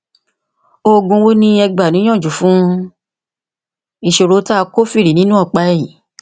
òògùn wo ni ẹ gbà níyànjú fún ìṣòro tí a kófìrí nínú ọpá ẹyìn